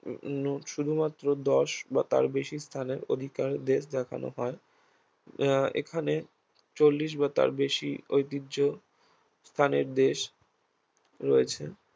উম নু শুধুমাত্র দশ বা তার বেশি স্থানের অধিকারীদের দেখানো হয় আহ এখানে চল্লিশ বা তার বেশি ঐতিহ্য স্থানিক দেশ রয়েছে